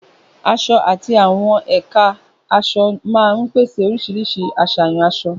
Aṣọ àti àwọn ẹ̀ka aṣọ máa ń pèsè oríṣiríṣi àṣàyàn aṣọ.